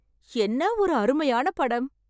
என்ன ஒரு அருமையான படம் !